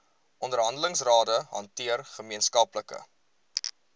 onderhandelingsrade hanteer gemeenskaplike